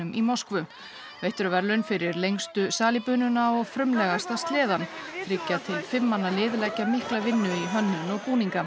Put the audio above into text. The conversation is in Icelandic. í Moskvu veitt eru verðlaun fyrir lengstu salíbununa og frumlegasta sleðann þriggja til fimm manna lið leggja mikla vinnu í hönnun og búninga